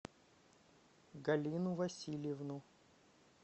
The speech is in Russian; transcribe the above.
галину васильевну